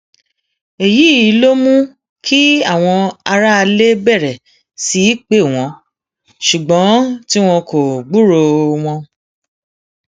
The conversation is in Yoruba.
èyí ló um mú kí àwọn aráalé bẹrẹ sí í pè wọn ṣùgbọn tí wọn kò gbúròó um wọn